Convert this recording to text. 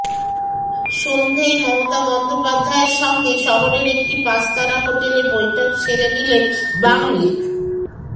সন্ধেয় মমতা বন্দ্যোপাধ্যায়ের সঙ্গে শহরের একটি পাঁচতারা হোটেলে বৈঠক সেরে নিলেন বাংল